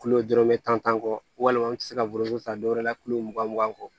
dɔrɔmɛ tan tan kɔ walima an tɛ se ka foroko ta don wɛrɛ la kulo mugan mugan kɔ